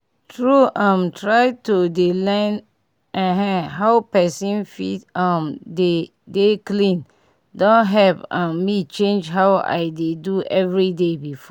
tru um try to dey lean[um]how pesin fit um dey dey clean don help um me change how i dey do everyday before